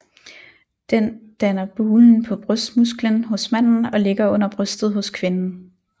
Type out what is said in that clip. Den danner bulen på brystmusklen hos manden og ligger under brystet hos kvinden